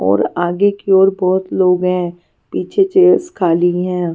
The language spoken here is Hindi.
और आगे की ओर बहुत लोग हैं पीछे चेयर्स खाली हैं.